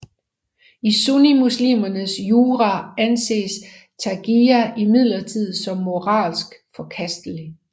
I sunnimuslimernes jura anses taqiyya imidlertid som moralsk forkastelig